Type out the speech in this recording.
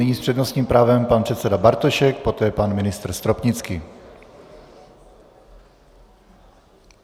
Nyní s přednostním právem pan předseda Bartošek, poté pan ministr Stropnický.